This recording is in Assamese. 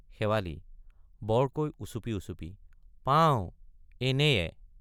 শেৱালি—বৰকৈ উচুপি উচুপি পা—ওঁ—এনে—য়ে।